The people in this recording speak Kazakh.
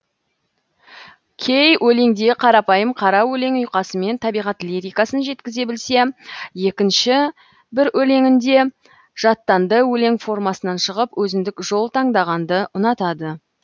кей өлеңінде қарапайым қара өлең ұйқасымен табиғат лирикасын жеткізе білсе екінші бір өлеңінде жаттанды өлең формасынан шығып өзіндік жол таңдағанды ұнатады